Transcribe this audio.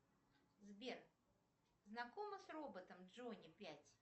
сбер знакома с роботом джони пять